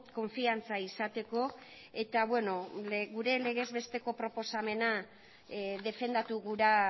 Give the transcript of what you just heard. konfiantza izateko eta gure legez besteko proposamena defendatu gura